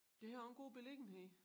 Det havde også en god beliggenhed